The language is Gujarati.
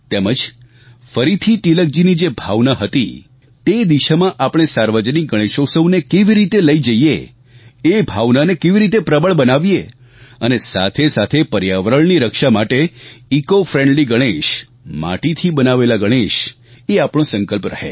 તેમજ ફરીથી તિલકજીની જે ભાવના હતી તે દિશામાં આપણે સાર્વજનિક ગણેશોત્સવને કેવી રીતે લઈ જઈએ એ ભાવનાને કેવી રીતે પ્રબળ બનાવીએ અને સાથેસાથે પર્યાવરણની રક્ષા માટે ઇકોફ્રેન્ડલી ગણેશ માટીથી બનાવેલા ગણેશ એ આપણો સંકલ્પ રહે